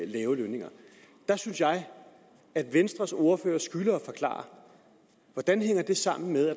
lave lønninger der synes jeg venstres ordfører skylder at forklare hvordan det hænger sammen med